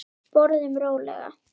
Borðum rólega.